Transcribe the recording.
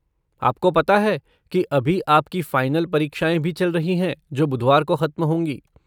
आपको पता है कि अभी आपकी फ़ाइनल परीक्षाएँ भी चल रही हैं जो बुधवार को ख़त्म होंगी।